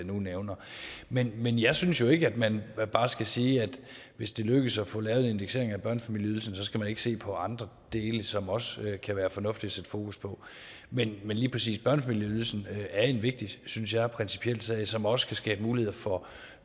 nu nævner men men jeg synes jo ikke at man bare skal sige at hvis det lykkes at få lavet en indeksering af børnefamilieydelsen så skal man ikke se på andre dele som det også kan være fornuftigt at sætte fokus på men lige præcis børnefamilieydelsen er en vigtig og synes jeg principiel sag som også kan skabe muligheder for